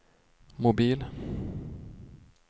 mobil